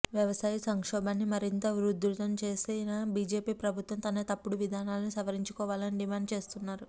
వ్యవసాయ సంక్షోభాన్ని మరింత ఉధృతం చేసిన బిజెపి ప్రభుత్వం తన తప్పుడు విధానాలను సవరించుకోవాలని డిమాండ్ చేస్తున్నారు